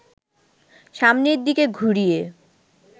সামনের দিকে ঘুরিয়ে